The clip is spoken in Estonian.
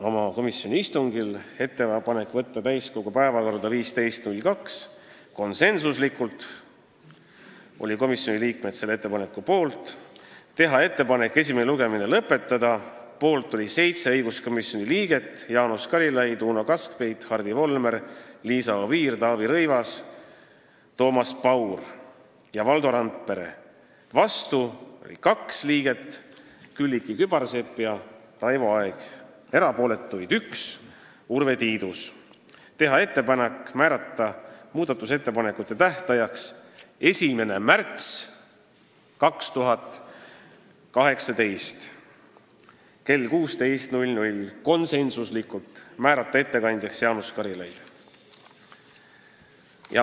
Õiguskomisjon tegi oma istungil ka menetlusotsused: teha ettepanek võtta eelnõu täiskogu päevakorda 15. veebruariks , teha ettepanek esimene lugemine lõpetada , teha ettepanek määrata muudatusettepanekute tähtajaks 1. märts 2018 kell 16 ja määrata ettekandjaks Jaanus Karilaid.